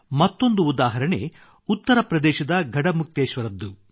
ಮತ್ತೊಂದು ಉದಾಹರಣೆಉತ್ತರ ಪ್ರದೇಶದ ಗಢಮುಕ್ತೇಶ್ವರದ್ದು